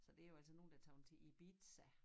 Så det jo altså nogen der tager til Ibiza